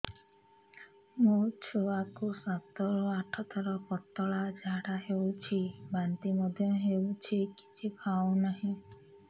ମୋ ଛୁଆ କୁ ସାତ ରୁ ଆଠ ଥର ପତଳା ଝାଡା ହେଉଛି ବାନ୍ତି ମଧ୍ୟ୍ୟ ହେଉଛି କିଛି ଖାଉ ନାହିଁ